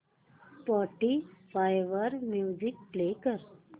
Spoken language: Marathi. स्पॉटीफाय वर म्युझिक प्ले कर